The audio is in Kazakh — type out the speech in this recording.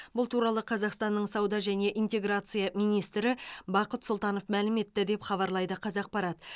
бұл туралы қазақстанның сауда және интеграция министрі бақыт сұлтанов мәлім етті деп хабарлайды қазақпарат